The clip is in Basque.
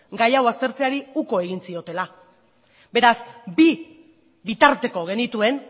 gai hau aztertzeari uko egin ziotela beraz bi bitarteko genituen